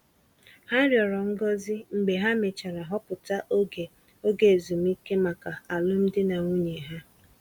Ha rịọrọ ngozi mgbe ha mechara họpụta oge oge ezumike maka alụmdi na nwunye ha.